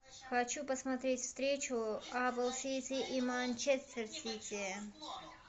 хочу посмотреть встречу апл сити и манчестер сити